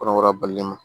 Kɔnɔbara balima ma